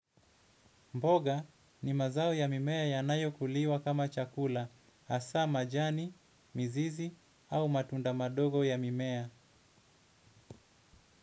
Mboga ni mazao ya mimea yanayo kuliwa kama chakula, hasa majani, mizizi au matunda madogo ya mimea.